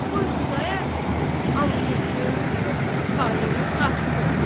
qoy Xudayar bəy anqırsın, tayını tapsın.